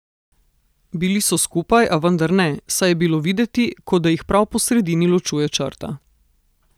Bili so skupaj, a vendar ne, saj je bilo videti, kot da jih prav po sredini ločuje črta.